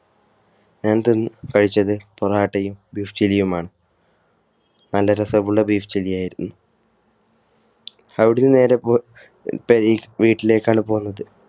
ഞങ്ങൾ കഴിച്ചത് പൊറാട്ടയും beef chilli യുമാണ്. നല്ല രസമുള്ള beef chilli യായിരുന്നു അവിടെനിന്നും നേരെവീട്ടിലേക്കാണ് പോന്നത്